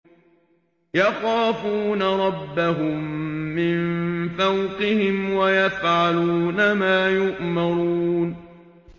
يَخَافُونَ رَبَّهُم مِّن فَوْقِهِمْ وَيَفْعَلُونَ مَا يُؤْمَرُونَ ۩